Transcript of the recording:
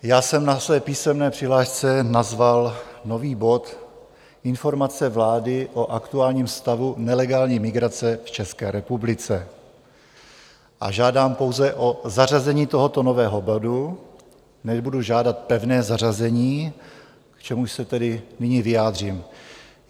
Já jsem na své písemné přihlášce nazval nový bod Informace vlády o aktuálním stavu nelegální migrace v České republice a žádám pouze o zařazení tohoto nového bodu, nebudu žádat pevné zařazení, k čemuž se tedy nyní vyjádřím.